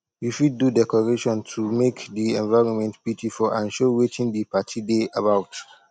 you fit do decoration to make the environment beautiful and show wetin the parti de about